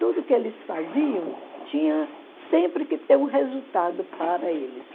Tudo que eles faziam tinha sempre que ter um resultado para eles.